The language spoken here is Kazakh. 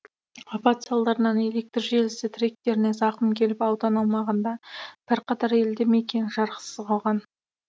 апат салдарынан электр желісі тіректеріне зақым келіп аудан аумағында бірқатар елді мекен жарықсыз қалған